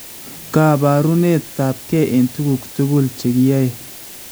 Kaabaaruneet ab key eng tukuk tukul chekiyaey